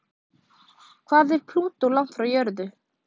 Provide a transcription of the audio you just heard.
Hvað er Plútó langt frá jörðu?